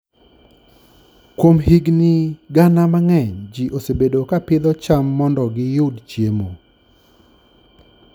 Kuom higini gana mang'eny, ji osebedo ka pidho cham mondo giyud chiemo.